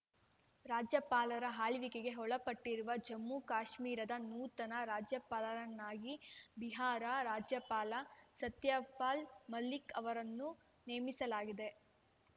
ರಾಜ್ಯಪಾಲರ ಆಳ್ವಿಕೆಗೆ ಒಳಪಟ್ಟಿರುವ ಜಮ್ಮು ಕಾಶ್ಮೀರದ ನೂತನ ರಾಜ್ಯಪಾಲರನ್ನಾಗಿ ಬಿಹಾರ ರಾಜ್ಯಪಾಲ ಸತ್ಯಪಾಲ್‌ ಮಲಿಕ್‌ ಅವರನ್ನು ನೇಮಿಸಲಾಗಿದೆ